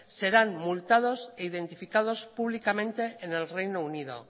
serán multados e identificados públicamente en el reino unido